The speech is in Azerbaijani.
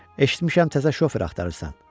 Eşitmişəm təzə şofer axtarırsan.